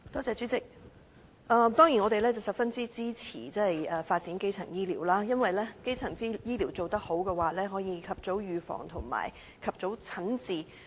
主席，我們當然十分支持發展基層醫療，因為如果基層醫療做得好，市民便能及早預防和及早診治。